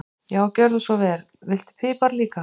Já, gjörðu svo vel. Viltu pipar líka?